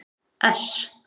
S